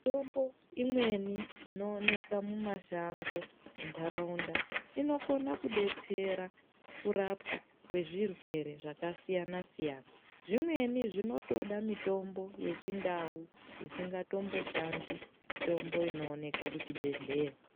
Mitombo imweni inowoneka mumashango mundarawunda, inokone kudetsera kurapwa kwezvirwere zvakasiyana siyana. Zvimweni zvinotoda mitombo yechindau zvisingatomboshandi mitombo inowoneka kuchibhedhleya.